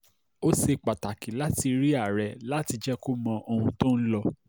ó ṣe pàtàkì láti rí àárẹ̀ láti jẹ́ kó mọ ohun tó ń lọ